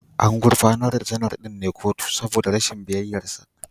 An gurfanar da Janar ɗin kotu ne saboda rashin biyayyarsa